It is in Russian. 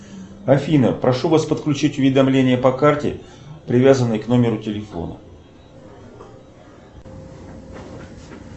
афина прошу вас подключить уведомления по карте привязанной к номеру телефона